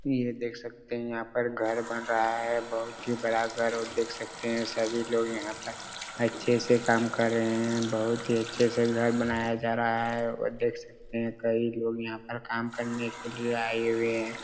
यह देख सकते हैं यहाँ पर घर बन रहा हैं बहुत ही बड़ा घर हैं और देख सकते हैं सभी लोग यहाँ पर अच्छे से काम कर रहे हैं बहुत ही अच्छा से घर बनाया जा रहा हैं और देख सकते हैं कई लोग यहाँ पर काम करने के लिए आए हुए हैं।